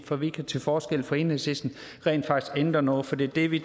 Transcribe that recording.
for vi kan til forskel fra enhedslisten rent faktisk ændre noget for det er det vi